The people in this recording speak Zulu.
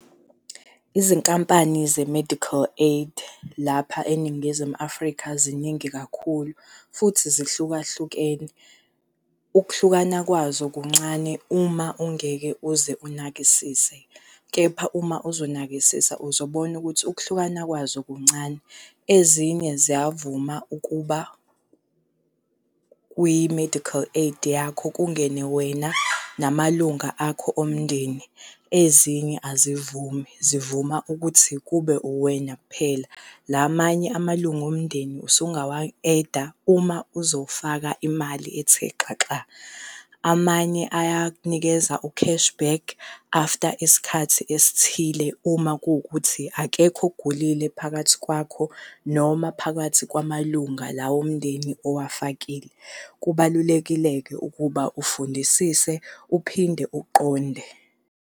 Izinkampani ze-medical aid lapha eNingizimu Afrika ziningi kakhulu futhi zihlukahlukene. Ukuhlukana kwazo kuncane uma ungeke uze unakisise, kepha uma uzonakisisa uzobona ukuthi ukuhlukana kwazo kuncane. Ezinye ziyavuma ukuba kwi-medical aid yakho kungene wena namalunga akho omndeni, ezinye azivumi zivuma ukuthi kube uwena kuphela. La manye amalunga omndeni usungawa-add-a uma uzofaka imali ethe xaxa. Amanye ayakunikeza u-cash back after isikhathi esithile uma kuwukuthi akekho ogulile phakathi kwakho noma phakathi kwamalunga lawo omndeni owafakile. Kubalulekile-ke ukuba ufundisise uphinde uqonde.